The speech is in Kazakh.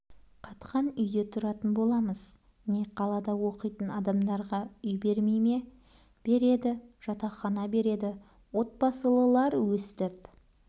қатқан үйде тұратын боламыз не қалада оқитын адамдарға үй бермей ме береді жатақхана береді отбасылылар өстіп